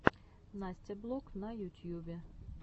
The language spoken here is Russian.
настя блог на ютьюбе